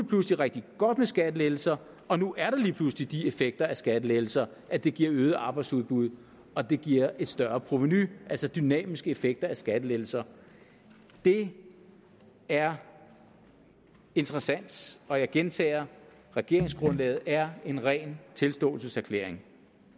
pludselig rigtig godt med skattelettelser og nu er der lige pludselig de effekter af skattelettelser at de giver øget arbejdsudbud og de giver et større provenu altså dynamiske effekter af skattelettelser det er interessant og jeg gentager regeringsgrundlaget er en ren tilståelseserklæring